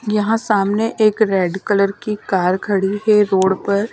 यहां सामने एक रेड कलर की कार खड़ी है रोड पर--